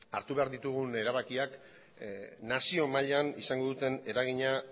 hartu behar ditugun erabakiak nazio mailan izango duten eragina